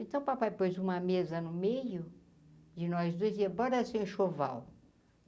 Então, o papai pôs uma mesa no meio de nós dois, e bora enxoval.